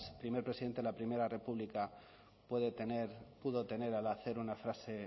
primer presidente de la primera república pudo tener al hacer una frase